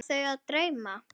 Var þau að dreyma?